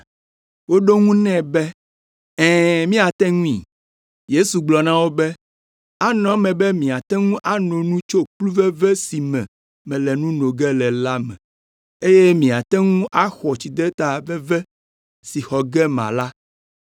Woɖo eŋu nɛ be, “Ɛ̃, míate ŋui.” Yesu gblɔ na wo be, “Anɔ eme be miate ŋu ano nu tso kplu veve si me mele nu no ge le la me, eye miate ŋu axɔ tsideta veve si xɔ ge mala,